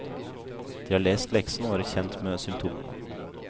De har lest leksen og er kjent med symptomene.